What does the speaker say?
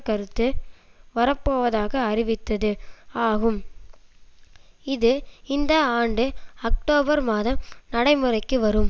கருத்து வரப்போவதாக அறிவித்தது ஆகும் இது இந்த ஆண்டு அக்டோபர் மாதம் நடைமுறைக்கு வரும்